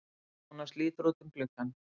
Jónas lítur út um gluggann.